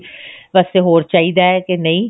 ਚੀਜ਼ ਵਾਸਤੇ ਹੋਰ ਚਾਹੀਦਾ ਕਿ ਨਹੀ